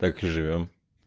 так и живём